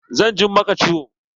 Zan jin maka ciwo.